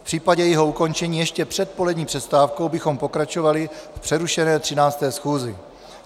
V případě jejího ukončení ještě před polední přestávkou bychom pokračovali v přerušené 13. schůzi.